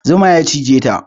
Zuma ya cigeta